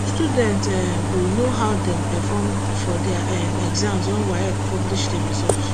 student um go know how dem perform for dia um exams wen waec publish di result